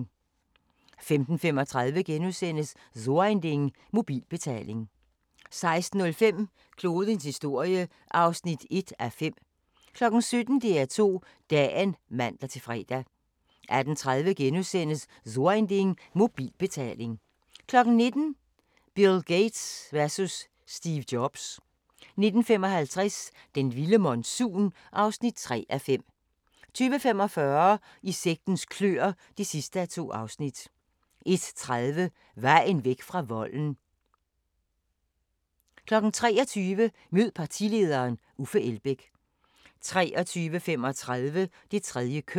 15:35: So ein Ding - mobilbetaling * 16:05: Klodens historie (1:5) 17:00: DR2 Dagen (man-fre) 18:30: So ein Ding - mobilbetaling * 19:00: Bill Gates versus Steve Jobs 19:55: Den vilde monsun (3:5) 20:45: I sektens kløer (2:2) 21:30: Vejen væk fra volden 23:00: Mød partilederen: Uffe Elbæk 23:35: Det tredje køn